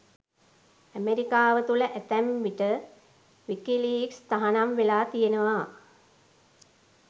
ඇමරිකාව තුළ ඇතැම් විට විකිලීක්ස් තහනම් වෙලා තියෙනවා.